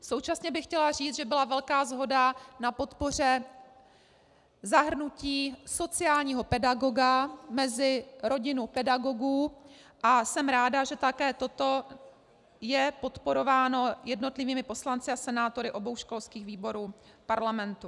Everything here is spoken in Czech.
Současně bych chtěla říct, že byla velká shoda na podpoře zahrnutí sociálního pedagoga mezi rodinu pedagogů, a jsem ráda, že také toto je podporováno jednotlivými poslanci a senátory obou školských výborů Parlamentu.